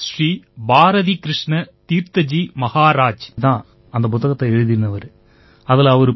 ஸ்வாமி ஸ்ரீ பாரதீகிருஷ்ண தீர்த்த ஜீ மஹராஜ் தான் அந்தப் புத்தகத்தை எழுதினவரு